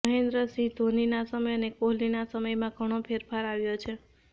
મહેન્દ્રસિંહ ઘોનીનાં સમય અને કોહલીનાં સમયમાં ઘણો ફેરફાર આવ્યો છે